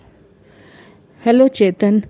hello Chetan .